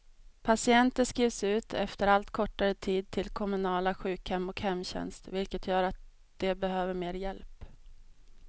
Patienter skrivs ut efter allt kortare tid till kommunala sjukhem och hemtjänst, vilket gör att de behöver mer hjälp.